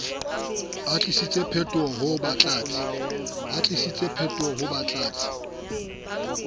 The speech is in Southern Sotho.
atlehisitswe potoloha ho ba batlatsi